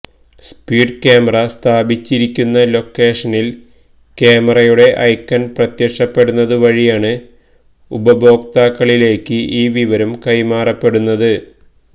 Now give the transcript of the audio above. speed camera സ്ഥാപിച്ചിരിക്കുന്ന ലൊക്കേഷനിൽ ക്യാമറയുടെ ഐക്കൺ പ്രത്യക്ഷപ്പെടുന്നതുവഴിയാണ് ഉപഭോക്താക്കളിലേക്ക് ഈ വിവരം കൈമാറപ്പെടുന്നത്